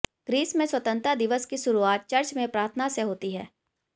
Greece में स्वतंत्रता दिवस की शुरुआत चर्च में प्रार्थना से होती है